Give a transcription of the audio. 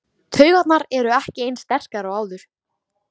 Taugarnar eru ekki eins sterkar og áður.